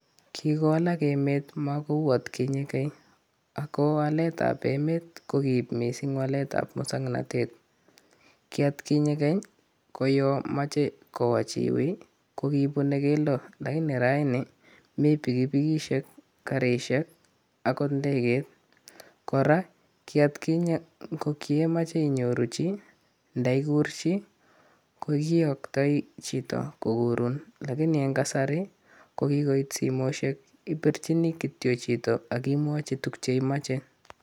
Kikowalak emet makouu atkinye keny, akowalet ap emet kokiib miising' walet ap mosong'natet. kiatkinye keny, ko ya meche kowa chi wui kokibune keldo lakini rani komi pikipikisiek, karisiek, akot ngegeit. kora, kiatkinye kokiemache inyoru chi nda iguur chi, ko kiyooktoi chito koguurun, lakini eng' kasari ko kikoit simosiek, ipirchini kityo chito akimwochi tukchu imache